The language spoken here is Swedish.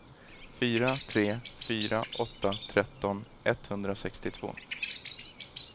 fyra tre fyra åtta tretton etthundrasextiotvå